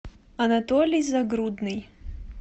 анатолий загрудный